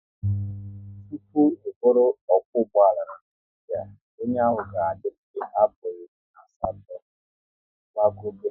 Tụpụ ị bụrụ okwo ụgbọala n'Naijiria, onye ahụ ga adịrịri afo iri na asatọ gbago be